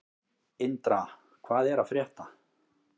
Indra, hvað er að frétta?